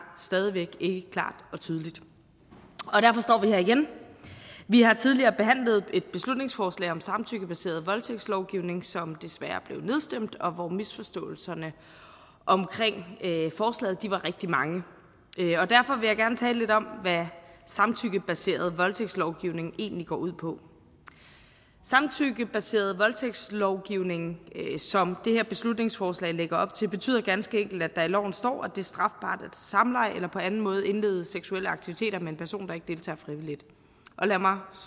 stadig væk ikke klart og tydeligt og her igen vi har tidligere behandlet et beslutningsforslag om samtykkebaseret voldtægtslovgivning som desværre blev nedstemt og hvor misforståelserne om forslaget var rigtig mange derfor vil jeg gerne tale lidt om hvad samtykkebaseret voldtægtslovgivning egentlig går ud på samtykkebaseret voldtægtslovgivning som det her beslutningsforslag lægger op til betyder ganske enkelt at der i loven står at det er strafbart at have samleje eller på anden måde indlede seksuelle aktiviteter med en person der ikke deltager frivilligt lad mig